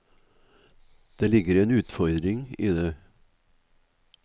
Det ligger en utfordring i det.